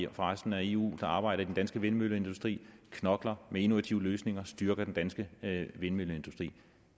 resten af eu der arbejder i den danske vindmølleindustri knokler med innovative løsninger og styrker den danske vindmølleindustri